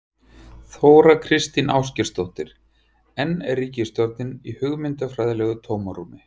Þóra Kristín Ásgeirsdóttir: En er ríkisstjórnin í hugmyndafræðilegu tómarúmi?